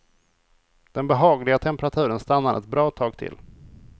Den behagliga temperaturen stannar ett bra tag till.